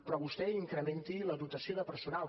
però vostè incrementi la dotació de personal